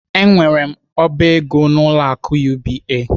Enwere m oba ego n'ụlọ akụ UBA.